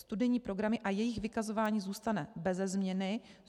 Studijní programy a jejich vykazování zůstane beze změny.